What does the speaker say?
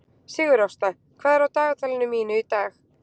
Sigurásta, hvað er á dagatalinu mínu í dag?